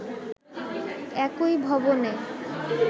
একই ভবনে